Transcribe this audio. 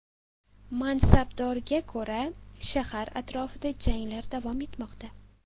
Mansabdorga ko‘ra, shahar atrofida janglar davom etmoqda.